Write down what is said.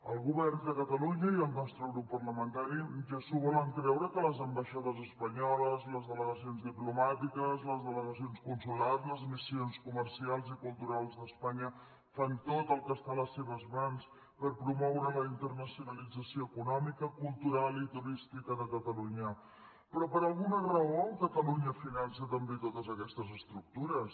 el govern de catalunya i el nostre grup parlamentari ja s’ho volen creure que les ambaixades espanyoles les delegacions diplomàtiques les delegacions consulars les missions comercials i culturals d’espanya fan tot el que està a les seves mans per promoure la internacionalització econòmica cultural i turística de catalunya però per alguna raó catalunya finança també totes aquestes estructures